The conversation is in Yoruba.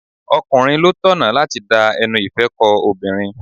Ọkùnrin ló tọ̀nà láti da ẹnu ìfẹ́ ko obìnrin.